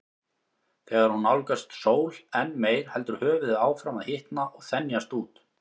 Þegar hún nálgast sól enn meir heldur höfuðið áfram að hitna og þenjast út.